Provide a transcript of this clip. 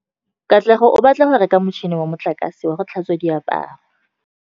Katlego o batla go reka motšhine wa motlakase wa go tlhatswa diaparo.